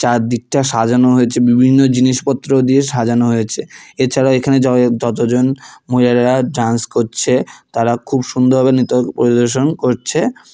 চারদিকটা সাজানো হয়েছে বিভিন্ন জিনিসপত্র দিয়ে সাজানো হয়েছে এছাড়াও এখানে য-যতজন মহিলারা ডান্স করছে তারা খুব সুন্দরভাবে নৃত্য পরিবেশন করছে।